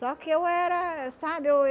Só que eu era, sabe? Eu